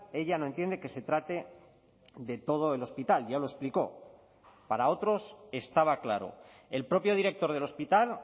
ella no entiende que se trate de todo el hospital ya lo explicó para otros estaba claro el propio director del hospital